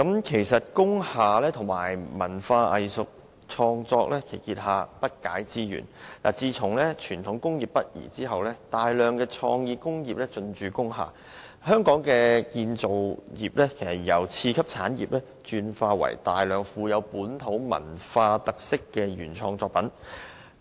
其實工廈及文化藝術創作結下的不解之緣，可追溯至傳統工業北移後工廈騰空，讓大量創意工業進駐，香港的製造業便由次級產業轉為生產大量富有本地文化特色原創作品的產業。